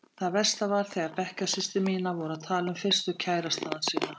Það versta var þegar bekkjarsystur mínar voru að tala um fyrstu kærastana sína.